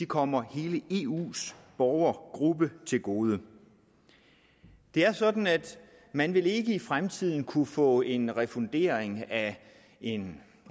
kommer hele eus borgergruppe til gode det er sådan at man ikke i fremtiden vil kunne få en refundering af en